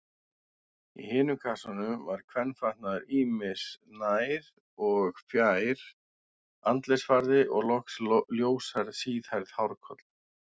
Í hinum kassanum var kvenfatnaður ýmis, nær- og fjær-, andlitsfarði og loks ljóshærð, síðhærð hárkolla.